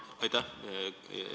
Aitäh!